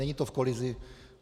Není to v kolizi.